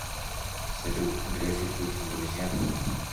салют греф и путин друзья